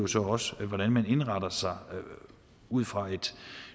så også hvordan man indretter sig ud fra et